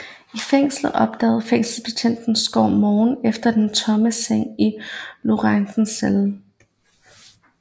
I fængslet opdagede fængselsbetjent Skov morgenen efter den tomme seng i Lorentzens celle